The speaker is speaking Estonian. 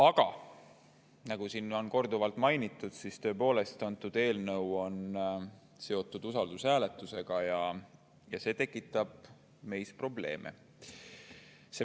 Aga nagu siin on korduvalt mainitud, siis tõepoolest, eelnõu on seotud usaldushääletusega ja see tekitab meis probleeme.